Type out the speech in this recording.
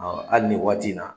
Ɔ ali nin waati in na